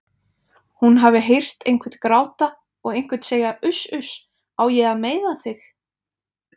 Hún hafi heyrt einhvern gráta og einhvern segja Uss uss, á ég að meiða þig?